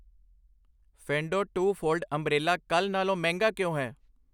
ਫ਼ੇਨਡੋ two fold umbrella ਕੱਲ੍ਹ ਨਾਲੋਂ ਮਹਿੰਗਾ ਕਿਉਂ ਹੈ